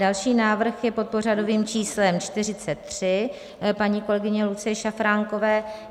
Další návrh je pod pořadovým číslem 43 paní kolegyně Lucie Šafránkové.